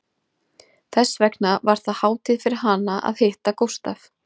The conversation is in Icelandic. Þess vegna var það hátíð fyrir hana að hitta Gústaf